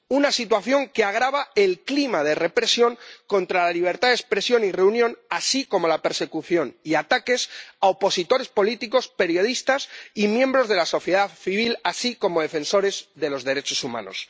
una situación que agrava el clima de represión contra la libertad de expresión y reunión y la persecución y ataques a opositores políticos, periodistas y miembros de la sociedad civil, así como a defensores de los derechos humanos.